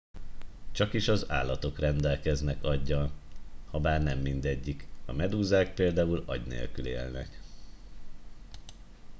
csakis az állatok rendelkeznek aggyal habár nem mindegyik; a medúzák például agy nélkül élnek